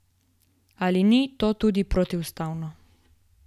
Ali ni to tudi protiustavno?